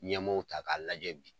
Ɲɛmaaw ta k'a lajɛ bi